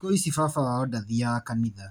Thikũ ici baba wao ndathiaga kanitha.